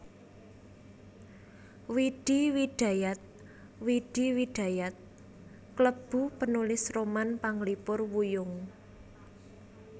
Widi Widajat Widi Widayat klebu penulis roman panglipur wuyung